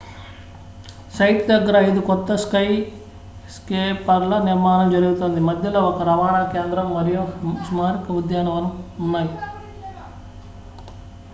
site దగ్గర ఐదు కొత్త స్కైస్కేపర్ల నిర్మాణం జరుగుతోంది మధ్యలో ఒక రవాణా కేంద్రం మరియు స్మారక ఉద్యానవనం ఉన్నాయి